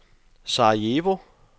Sarajevo